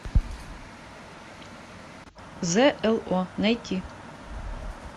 з л о найти